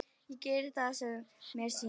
Ég geri það sem mér sýnist.